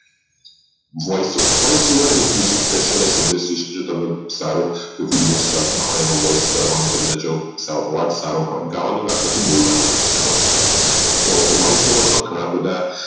voiceover voice over એક IndustriesSpecialization Indertis તમને સારા video ચાલતા હોઈ voice કરવાની જો તમારો અવાજ સારો હોઈ ગાવાની વાત નથી બોલવની વાત છે હો તો voice over માં ઘણા બધા